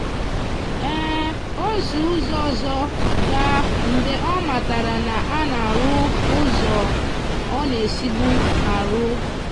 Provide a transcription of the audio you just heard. o si ụzọ ọzọ gaa mgbe ọ matara na a na-arụ ụzọ ọ na-esibu arụ.